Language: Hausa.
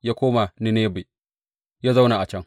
Ya koma Ninebe ya zauna a can.